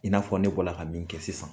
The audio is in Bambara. I n'a fɔ ne ka bɔla ka min kɛ sisan